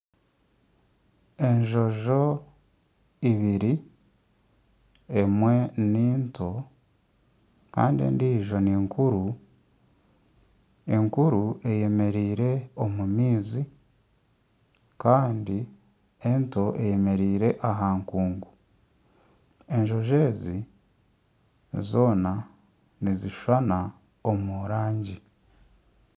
Enjojo ibiri emwe ni nto kandi endiijo ninkuru, enkuru eyemereire omu maizi kandi ento eyemereire aha nkungu enjojo ezi zoona nizishushana omu rangi.